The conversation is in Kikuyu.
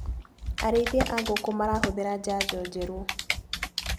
Arĩithia a ngũkũ marahũthĩra janjo njerũ.